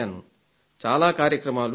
చాలా కార్యక్రమాలు జరిగాయి